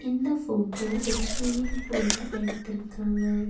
இந்த போட்டோ ஒரு ஸ்விம்மிங் பூல்ல எடுத்துருக்காங்க.